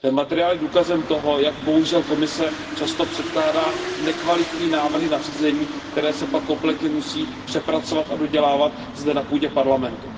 Materiál je důkazem toho, jak bohužel Komise často předkládá nekvalitní návrhy nařízení, které se pak kompletně musí přepracovat a dodělávat zde na půdě Parlamentu.